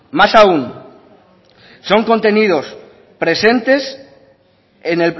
más aun son contenidos presentes en